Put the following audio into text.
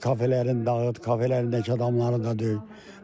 Get kafelərin dağıt, kafelərin yaş adamları da deyil.